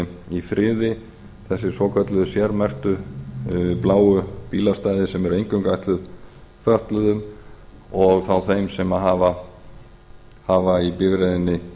í friði þessi svokölluðu sérmerktu bláu bílastæði sem eru eingöngu ætluð fötluðum og þá þeim sem hafa í bifreiðinni